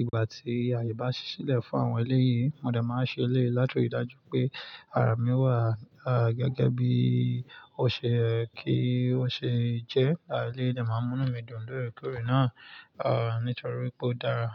Ìgbà tí àyè bá ṣi ṣílẹ̀ fún àwọn eléyìí, mo de máa ṣe eléyìí láti rí i dájú wipé ara mi wà gẹ́gẹ́ bí ó ṣe yẹ́ kí ó ṣe jẹ́. Eléyìí de màá n mú ínu mi dùn lóòrèkóòrè náà, nítorí pé ó dára.